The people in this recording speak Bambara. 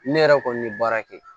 Ne yɛrɛ kɔni ye baara kɛ